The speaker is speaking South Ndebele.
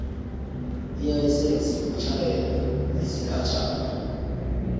ilayisense yokutjhayela yesikhatjhana